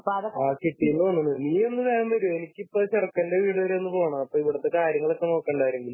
Okay വന്നു . നീയൊന്ന് വേഗം വരുമോ? എനിക്ക് ഇപ്പം ചെറുക്കന്റെ വീട് വരെ ഒന്ന് പോണം അപ്പൊ ഇവിടുത്തെ കാര്യങ്ങൾ നോക്കണ്ടെ ആരെങ്കിലും